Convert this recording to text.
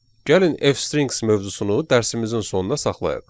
Gəlin F-strings mövzusunu dərsimizin sonuna saxlayaq.